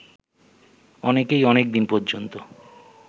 অনেকেই অনেকদিন পর্যন্ত